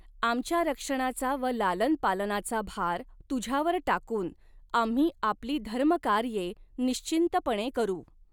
आमच्या रक्षणाचा व लालन पालनाचा भार तुझ्यावर टाकून आम्ही आपली धर्मकार्ये निश्चिंतपणे करू